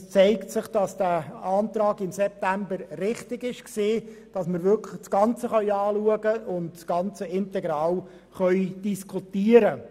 Es zeigt sich, dass es richtig war, im September zu beantragen, das ganze Thema zusammen anzuschauen und zu diskutieren.